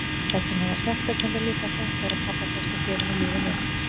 Þess vegna var sektarkenndin líka þung þegar pabba tókst að gera henni lífið leitt.